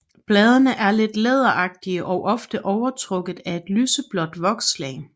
Bladene er lidt læderagtige og ofte overtrukket af et lyseblåt vokslag